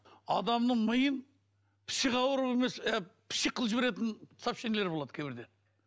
адамның миын псих ауру емес ы псих қылып жіберетін сообщенилер болады кейбірде